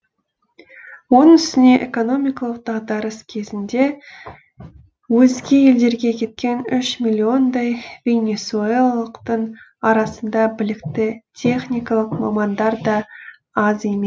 оның үстіне экономикалық дағдарыс кезінде өзге елдерге кеткен үш миллиондай венесуэлалықтың арасында білікті техникалық мамандар да аз еме